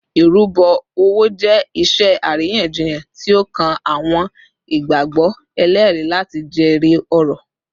Irubo owo jẹ iṣe ariyanjiyan ti o kan awọn igbagbọ eleri lati jere ọrọ